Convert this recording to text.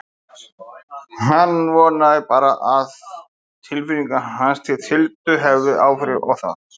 Hann vonaði bara að tilfinningar hans til Tildu hefðu ekki áhrif á það.